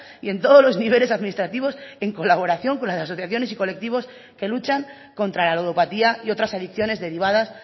y en todos los niveles administrativos en colaboración con las asociaciones y colectivos que luchan contra la ludopatía y otras adicciones derivadas